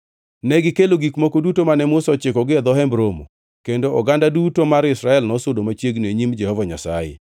Negikelo gik moko duto mane Musa ochikogi e dho Hemb Romo, kendo oganda duto mar Israel nosudo mochungʼ e nyim Jehova Nyasaye.